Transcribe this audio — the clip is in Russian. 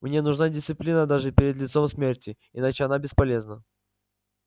мне нужна дисциплина даже перед лицом смерти иначе она бесполезна